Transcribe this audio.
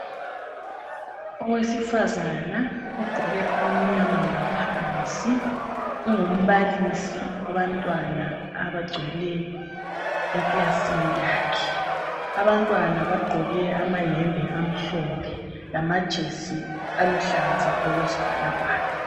Owesifazana ogqoke okumnyama ngaphansi ungumbalisi wabantwana abagcwele ekilasini yakhe abantwana bagqoke ama yembe amhlophe lamajesi aluhlaza okwesibhakabhaka .